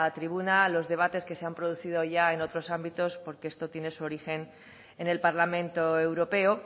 tribuna los debates que se han producido ya en otros ámbitos porque esto tiene su origen en el parlamento europeo